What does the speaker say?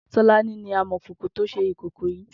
Tolani ni ámọ̀kókó tò ṣé ikòkò yi